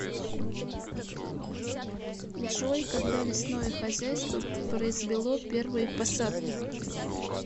джой когда лесное хозяйство произвело первые посадки